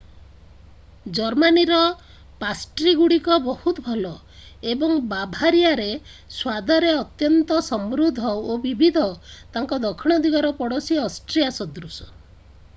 ଜର୍ମାନୀର ପାଷ୍ଟ୍ରିଗୁଡ଼ିକ ବହୁତ ଭଲ ଏବଂ ବାଭାରିଆରେ ସ୍ୱାଦରେ ଅତ୍ୟନ୍ତ ସମୃଦ୍ଧ ଓ ବିବିଧ ତାଙ୍କ ଦକ୍ଷିଣ ଦିଗର ପଡ଼ୋଶୀ ଅଷ୍ଟ୍ରିଆ ସଦୃଶ